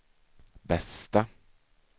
bästa